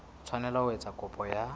tshwanela ho etsa kopo ya